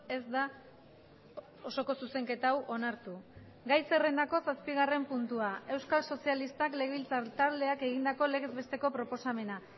ez da osoko zuzenketa hau onartu gai zerrendako zazpigarren puntua euskal sozialistak legebiltzar taldeak egindako legez besteko proposamena